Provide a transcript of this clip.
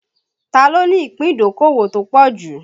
Ta ló ní ìpín ìdókòwò tó pọ̀ jù?